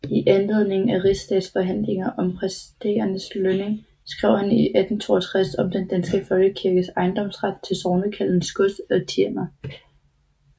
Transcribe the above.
I anledning af rigsdagsforhandlinger om præsternes lønning skrev han 1862 Om den danske Folkekirkes Ejendomsret til Sognekaldenes Gods og Tiender